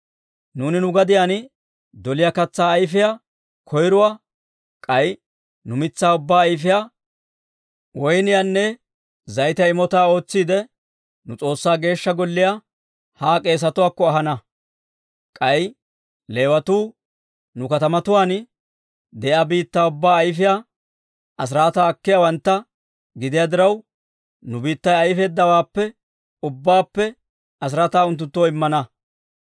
«Nuuni nu gadiyaan doliyaa katsaa ayfiyaa koyruwaa, k'ay nu mitsaa ubbaa ayfiyaa, woyniyaanne zayitiyaa imotaa ootsiidde, nu S'oossaa Geeshsha Golliyaa haa k'eesetuwaakko ahana. K'ay Leewatuu nu katamatuwaan de'iyaa biittaa ubbaa ayfiyaa asiraataa akkiyaawantta gidiyaa diraw, nu biittay ayfeeddawaappe ubbaappe asiraataa unttunttoo immana.